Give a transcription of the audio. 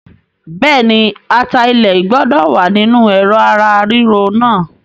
Bẹ́ẹ̀ni, ata ilẹ̀ gbọ́dọ̀ wá nínú Ẹ̀rọ̀ ara ríro náà.